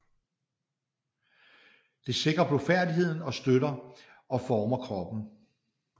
Det sikrer blufærdigheden og støtter og former kroppen